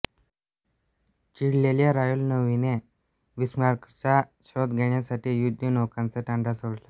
चिडलेल्या royal नेव्हीने बिस्मार्कचा शोध घेण्यासाठी युद्धनौकांचा तांडा सोडला